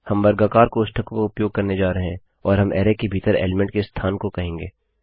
हम वर्गाकार कोष्ठकों का उपयोग करने जा रहे हैं और हम अरैके भीतर एलीमेंट के स्थान को कहेंगे